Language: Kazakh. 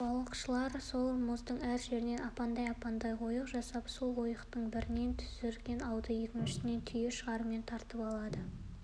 қыста айналасы бір жарым мың шақырым теңіздің беті сірескен мұз болып қатады